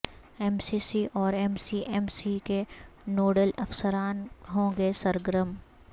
M C C اور M C M C کے nodal افسران ہوں گے سرگرم